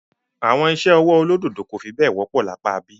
Àwọn iṣẹ́ ọwọ́ olódòdó kò fi bẹ́ẹ̀ wọ́pọ̀ ní apá ibí.